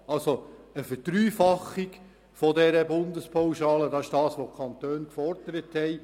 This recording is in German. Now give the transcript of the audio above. Die Verdreifachung der Bundespauschale ist das, was die Kantone gefordert haben.